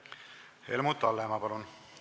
Helmut Hallemaa, palun!